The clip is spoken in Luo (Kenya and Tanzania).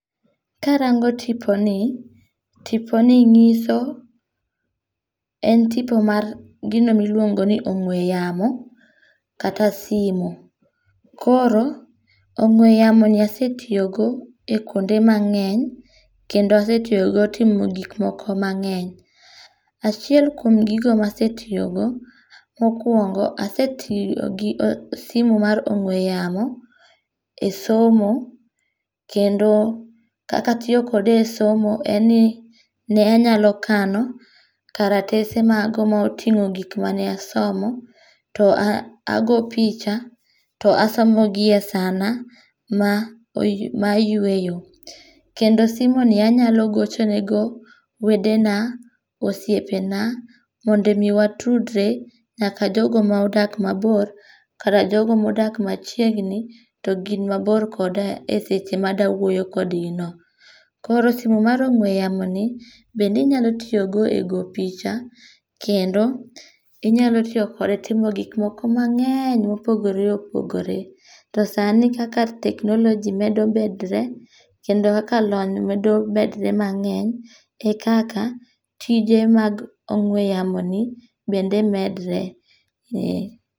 Ka arango tiponi, tiponi nyiso, en tipo mar gino ma iluongoni ong'we yamo kata simo. Koro ong'we yamoni asetiyogo e kwonde mangény, kendo asetiyogo timo gikmoko mangény. Achiel kuom gigi ma asetiyogo, mokwongo, asetiyo gi simu mar ong'we yamo e somo, kendo, kaka atiyo kode e somo en ni ne anyalo kano karatese moko ma otingó gik mane asomo to a ago picha to asomo gi e sana ma ma ayweyo. Kendo simu ni anyalo gochonego wedena, osiepena, mondo omi watudre, nyaka jogo ma odak mabor, koda jogo modak machiegni to gin mabor koda e seche ma adwa wuoyo kodgi no. Koro simu mar ong'we yamoni bende inyalo tiyogo e go picha kendo inyalo tiyo kode timo gik moko mangény mopogore opogore. To sani kaka technology medo medre, kendo kaka lony medo medre mangény e kaka tije mag ong'we yamoni bende medre.